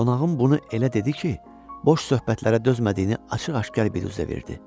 Qonağım bunu elə dedi ki, boş söhbətlərə dözmədiyini açıq-aşkar birüzə verdi.